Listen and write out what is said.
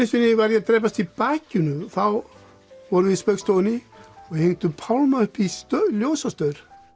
sinni var ég að drepast í bakinu og þá vorum við í Spaugstofunni og við hengdum Pálma upp í ljósastaur